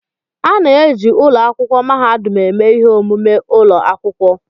A na-eji ụlọ akwụkwọ mahadum eme ihe omume ụlọ akwụkwọ.